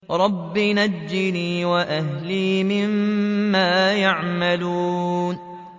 رَبِّ نَجِّنِي وَأَهْلِي مِمَّا يَعْمَلُونَ